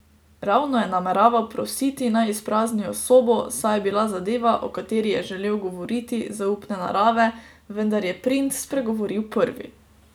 Ravno je nameraval prositi, naj izpraznijo sobo, saj je bila zadeva, o kateri je želel govoriti, zaupne narave, vendar je princ spregovoril prvi.